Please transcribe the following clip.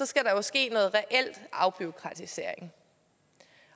skal der jo ske noget reel afbureaukratisering